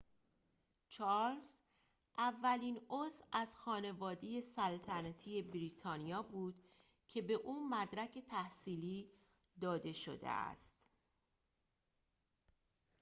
چارلز اولین عضو از خانواده سلطنتی بریتانیا بود که به او مدرک تحصیلی داده شده است